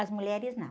As mulheres não.